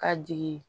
Ka jigin